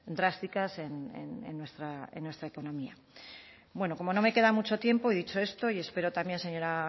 drásticas en nuestra economía bueno como no me queda mucho tiempo y dicho esto y espero también señora